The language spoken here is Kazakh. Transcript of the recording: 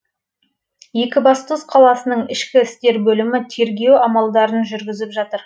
екібастұз қаласының ішкі істер бөлімі тергеу амалдарын жүргізіп жатыр